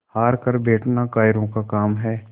हार कर बैठना कायरों का काम है